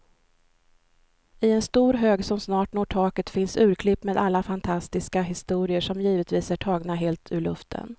I en stor hög som snart når taket finns urklipp med alla fantastiska historier, som givetvis är tagna helt ur luften.